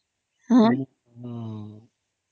ହଁ